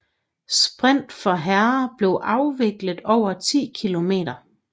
Sprint for herrer bliver afviklet over 10 km